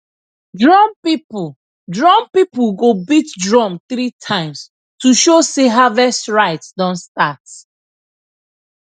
drum people drum people go beat drum three times to show sey harvest rite don start